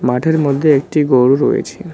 মাঠের মধ্যে একটি গরু রয়েছে।